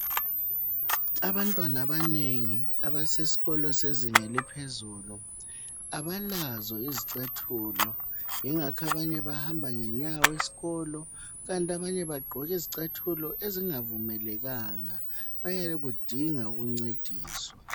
Abantwana abanengi abasesikolo sezinga eliphezulu abalazo izicathulo yingakho abanye bahamba ngenyawo esikolo kukanti abanye bagqoka izicathulo ezingavumelekanga. Bayakudinga ukuncediswa.